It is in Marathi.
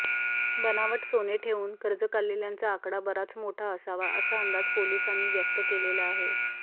बनावट सोने ठेवून कर्ज काढलेल्यांचा आकडा बराच मोठा असावा असा अंदाज पोलिसानी व्यक्त केलेला आहे